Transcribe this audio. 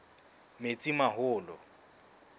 metsimaholo